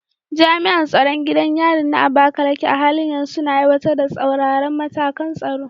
Jami’an tsaron gidan yarin na Abakaleke a halin yanzu suna aiwatar da tsauraran matakan tsaro.